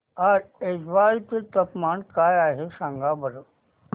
आज ऐझवाल चे तापमान काय आहे सांगा बरं